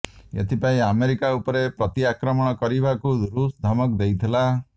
ଏଥିପାଇଁ ଆମେରିକା ଉପରେ ପ୍ରତିଆକ୍ରମଣ କରିବାକୁ ରୁଷ୍ ଧମକ ଦେଇଥିଲା